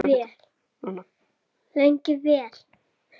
Lengi vel.